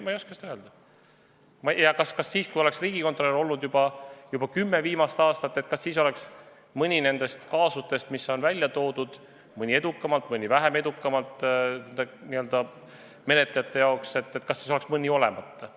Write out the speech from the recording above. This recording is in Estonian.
Ma ei oska ka seda öelda, kas siis, kui oleks Riigikontroll tegutsenud selles valdkonnas juba kümme viimast aastat, oleks mõni nendest kaasustest, mis on tõstatatud – mõni menetlejate jaoks edukalt, mõni vähem edukalt –, kas siis oleks mõni kaasus olemata jäänud.